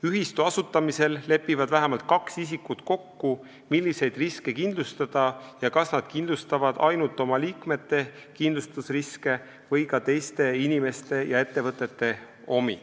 Ühistu asutamisel lepivad vähemalt kaks isikut kokku, milliseid riske kindlustada ja kas nad kindlustavad ainult oma liikmete kindlustusriske või ka teiste inimeste ja ettevõtete omi.